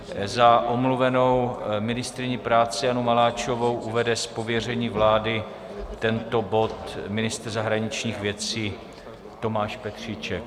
Za omluvenou ministryni práce Janu Maláčovou uvede z pověření vlády tento bod ministr zahraničních věcí Tomáš Petříček.